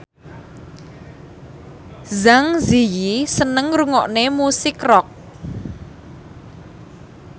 Zang Zi Yi seneng ngrungokne musik rock